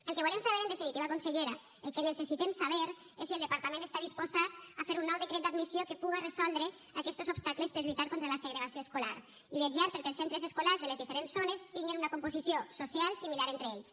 el que volem saber en definitiva consellera el que necessitem saber és si el departament està disposat a fer un nou decret d’admissió que puga resoldre aquestos obstacles per lluitar contra la segregació escolar i vetllar perquè els centres escolars de les diferents zones tinguin una composició social similar entre ells